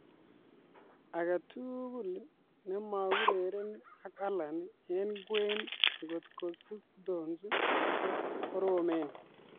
"Age tugul nemakoureren ak Allan eng kwen ngot ko Sigurdson ko koromen".